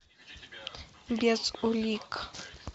без улик